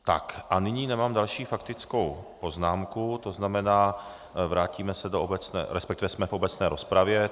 Tak a nyní nemám další faktickou poznámku, to znamená, vrátíme se do obecné, respektive jsme v obecné rozpravě.